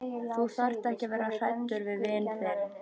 Þú þarft ekki að vera hræddur við vin þinn.